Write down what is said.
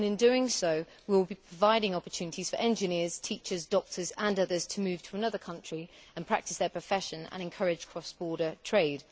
In doing so we will be providing opportunities for engineers, teachers, doctors and others to move to another country and practise their profession and encourage cross border trade.